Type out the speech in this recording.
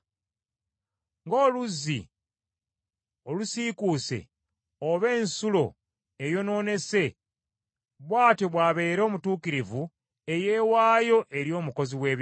Ng’oluzzi olusiikuuse, oba ensulo eyonoonese, bw’atyo bw’abeera omutuukirivu eyeewaayo eri omukozi w’ebibi.